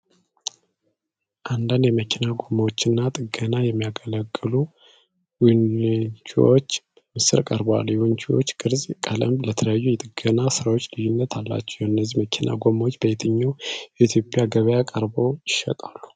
አንዳንድ የመኪና ጎማዎችና ጥገና የሚያገለግሉ ዊንችዎች በምስል ቀርበዋል። የዊንችዎቹ ቅርፅና ቀለም ለተለያዩ የጥገና ሥራዎች ልዩነት አላቸው። እነዚህ የመኪና ጎማዎች በየትኛው የኢትዮጵያ ገበያ ቀርበው ይሸጣሉ?